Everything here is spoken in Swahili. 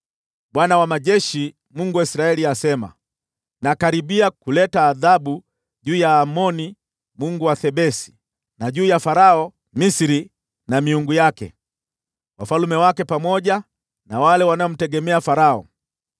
Bwana Mwenye Nguvu Zote, Mungu wa Israeli, asema: “Nakaribia kuleta adhabu juu ya Amoni mungu wa Thebesi, na juu ya Farao, Misri na miungu yake, na wafalme wake, pamoja na wale wanaomtegemea Farao.